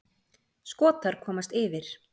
Skotar komast yfir.